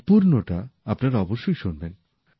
সম্পুর্ণটা আপনারা অবশ্যই শুনবেন